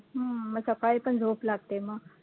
हम्म मग सकाळी पण झोप लागते मग